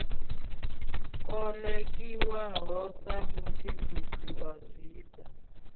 kolekiwaho sa mutshimbidzi wa zwifha